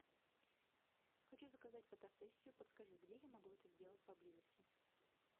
хочу заказать фотосессию подскажи где я могу это сделать поблизости